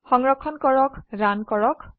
সংৰক্ষণ কৰক ৰান কৰক